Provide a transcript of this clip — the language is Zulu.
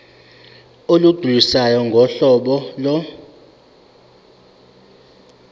olugculisayo ngohlobo lo